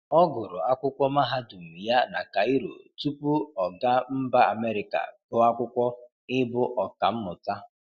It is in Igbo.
Ọ gụrụ akwụkwọ Mahadụm ya na Kaịro tupu ọ ga mba Amerịka gụọ akwụkwọ ị bụ ọkamụta.